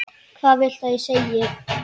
Hvað viltu ég segi?